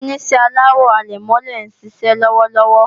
Àwọn Oníṣẹ́ aláwo àlẹ̀mọ́lẹ̀ ń ṣiṣẹ́ lọ́wọ́lọ́wọ́